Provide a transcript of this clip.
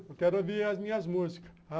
Eu quero ouvir as minhas músicas.